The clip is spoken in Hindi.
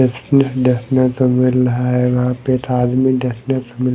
देखने को मिल रहा है वहा पे एक आदमी देखने को मिल--